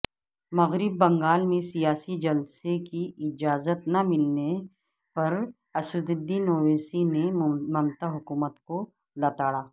مغربی بنگال میں سیاسی جلسےکی اجازت نہ ملنے پر اسدالدین اویسی نے ممتاحکومت کو لتاڑا